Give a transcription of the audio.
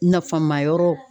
Nafamayɔrɔ